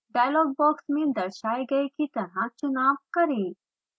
dialogue box में दर्शाए गए की तरह चुनाव करें